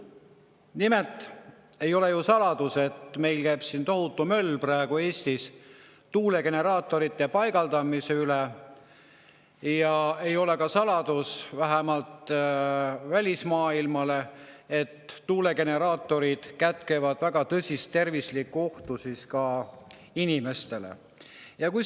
Nimelt, ei ole ju saladus, et meil käib praegu Eestis tohutu möll tuulegeneraatorite paigaldamise ümber, ja ei ole ka saladus, vähemalt välismaailmale, et tuulegeneraatorid kätkevad endas inimeste tervisele väga tõsist ohtu.